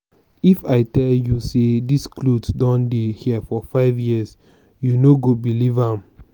if i tell you say dis cloth don dey here for five years you no go believe am